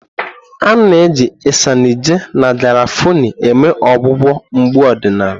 A na-eji Isanaje na garafuni eme ọgwụgwọ mgbu ọdịnala.